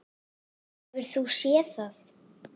Hefur þú séð það?